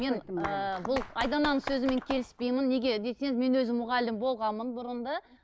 мені ііі бұл айдананың сөзімен келіспеймін неге десеңіз мен өзім мұғалім болғанмын бұрын да